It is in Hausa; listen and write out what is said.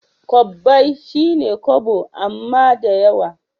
Kobbai shine kobo amma dayawa